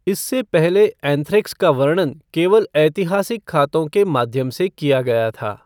इससे पहले एंथ्रैक्स का वर्णन केवल ऐतिहासिक खातों के माध्यम से किया गया था।